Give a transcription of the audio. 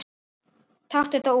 Taktu þetta út